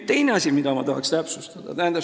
Teine asi, mida ma tahan täpsustada.